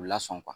U lasɔn